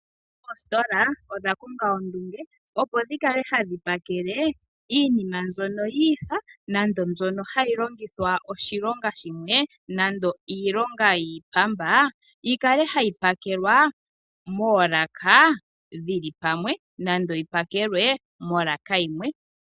Oositola odha pumbwa ondunge opo dhi kale hadhi pakele iinima mbyono yi ifa nande mbyono hayi longitha oshilonga shimwe nando iilonga yiipamba, yi kale hayi pakelwa moolaka dhili pamwe nando yi pakelwe molaka yimwe.